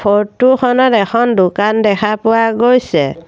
Photo খনত এখন দোকান দেখা পোৱা গৈছে।